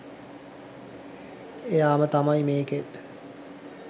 එයාම තමයි මේකෙත්